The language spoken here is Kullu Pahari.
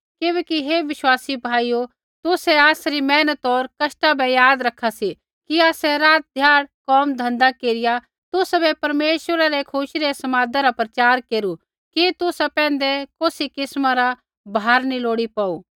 किबैकि हे विश्वासी भाइयो तुसै आसरी मेहनत होर कष्टा बै याद रैखा सी कि आसै रात ध्याड़ कोम धँधा केरिया तुसाबै परमेश्वरै रै खुशी रै समादा रा प्रचार केरू कि तुसा पैंधै कौसी किस्मा रा भार नी लोड़ी पौड़ू